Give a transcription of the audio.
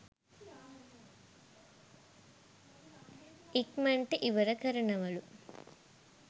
ඉක්මනට ඉවර කරනවලු.